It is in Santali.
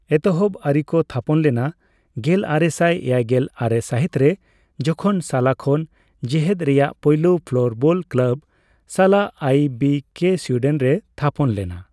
ᱮᱛᱚᱦᱚᱵ ᱟᱹᱨᱤ ᱠᱚ ᱛᱷᱟᱯᱚᱱ ᱞᱮᱱᱟ ᱜᱮᱞᱟᱨᱮᱥᱟᱭ ᱮᱭᱟᱭᱜᱮᱞ ᱟᱨᱮ ᱥᱟᱹᱦᱤᱛ ᱨᱮ ᱡᱚᱠᱷᱚᱱ ᱥᱟᱞᱟ ᱠᱷᱚᱱ ᱡᱮᱦᱮᱫ ᱨᱮᱭᱟᱜ ᱯᱳᱭᱞᱳ ᱯᱷᱞᱳᱨᱵᱚᱞ ᱠᱞᱟᱵᱽ, ᱥᱟᱞᱟ ᱟᱭᱹᱵᱤᱹᱠᱮ, ᱥᱩᱭᱰᱮᱱ ᱨᱮ ᱛᱷᱟᱯᱚᱱ ᱞᱮᱱᱟ ᱾